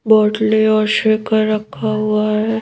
बोतलें और रखा हुआ है।